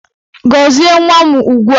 Gọzie nwa m ugbua!